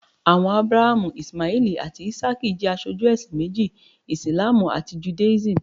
Àwọn Ábúráhámù, Íṣímáẹ́lì àti Ísákì jẹ́ aṣojú ẹ̀sìn méjì, Ìsìlámù àti Judáísímù.